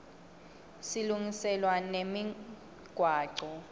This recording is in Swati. silungiselwa nemigwaco